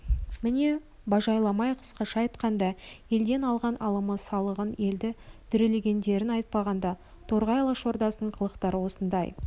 міне бажайламай қысқаша айтқанда елден алған алымы салығын елді дүрелегендерін айтпағанда торғай алашордасының қылықтары осындай